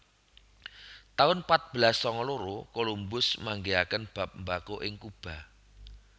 taun patbelas sanga loro Colombus manggihaken bab mbako ing Cuba